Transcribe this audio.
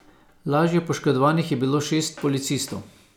Lažje poškodovanih je bilo šest policistov.